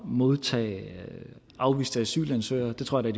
modtage afviste asylansøgere der tror jeg